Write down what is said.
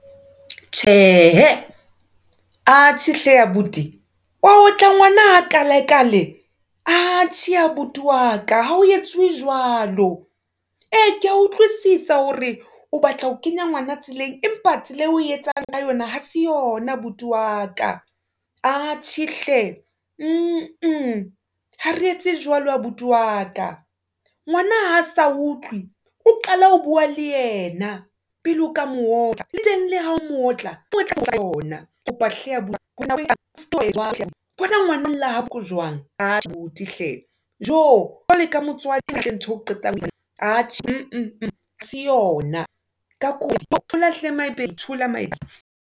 Tjhe hee, atjhe hle abuti, wa otla ngwana ha kale-kale, atjhe abuti w aka, ha ho etsuwe jwalo. E ya keya utlwisisa hore o batla ho kenya ngwana tseleng, empa tsela eo oe etsang ka yona ha se yona abuti wa ka, atjhe hle . Ha re etse jwalo abuti wa ka, ngwana ha sa utlwe o qale ho bua le yena, pele o ka mootla, le teng le ha o mootla ona. Kopa hle abuti bona ngwana olla jwang, aa abuti hle. Tjo jwalo ka motswadi ke ntho eo ke qetang atjhe, ha se yona, ka kopo thola thola